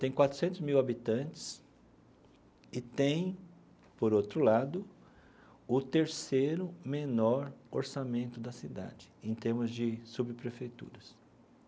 Tem quatrocentos mil habitantes e tem, por outro lado, o terceiro menor orçamento da cidade, em termos de subprefeituras.